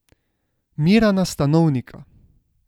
Mirana Stanovnika!